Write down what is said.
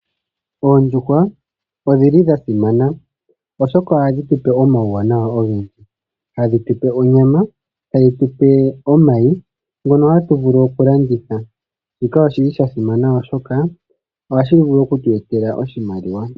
Oondjuhwa odhili dhasimana oshoka ohadhi tupe omawuwanawa ogendji. Hadhi tupe onyama, hadhi tupe omayi ngono hatu vulu okulanditha. Shika oshili shasimana oshoka ohashi vulu okutu etela oshimaliwa.